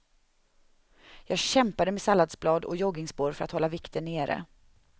Jag kämpade med salladsblad och joggingspår för att hålla vikten nere.